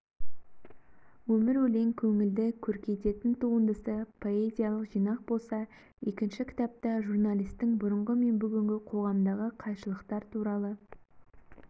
өмір-өлең көңілді көркейтетін туындысы поэзиялық жинақ болса екінші кітапта журналистің бұрынғы мен бүгінгі қоғамдағы қайшылықтар туралы